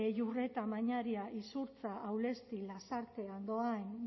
iurreta mañaria izurtza aulesti lasarte andoain